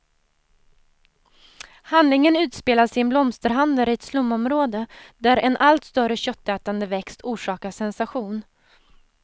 Handlingen utspelas i en blomsterhandel i ett slumområde, där en allt större köttätande växt orsakar sensation.